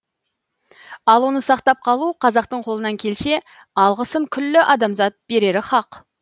ал оны сақтап қалу қазақтың қолынан келсе алғысын күллі адамзат берері хақ